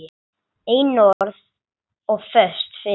Einörð og föst fyrir.